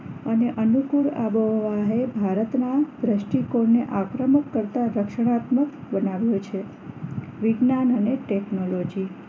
અને અનુકૂળ આબોહવા એ ભારતમાં દ્રષ્ટીકોણ ને આક્રમક કરતા દક્ષિણાત્મક બનાવ્યું છે વિજ્ઞાન અને ટેકનોલોજી